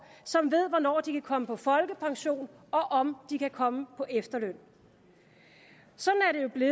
som ved hvornår de kan komme på folkepension og om de kan komme på efterløn sådan